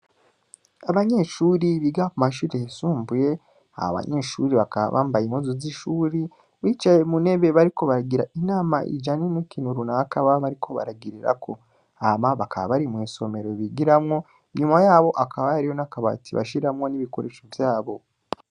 Abanyeshure biga mu mashure yisumbuye, abo banyeshure bakaba bambaye impuzu zishure bicaye mu ntebe bariko baragira inama ijanye n'ikintu runaka baba bariko baragirako, hama bakaba bari mwisomero bigiramwo, inyuma yabo hakaba hariho n'akabati bashiramwo n'ibikoresho vyabo.